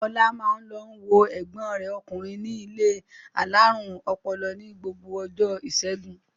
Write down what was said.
Ọlá máa ń lọ wo ẹ̀gbọ́n rẹ̀ ọkùnrin ní ilé alárùn ọpọlọ ní gbogbo ọjọ́ ìṣẹ́gun.